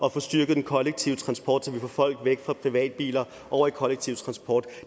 at få styrket den kollektive transport så vi får folk væk fra privatbiler over i kollektive transport